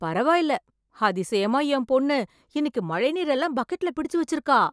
பரவாயில்லை அதிசயமா என் பொண்ணு இன்னைக்கு மழைநீர் எல்லாம் பக்கெட்ல பிடிச்சு வச்சிருக்கா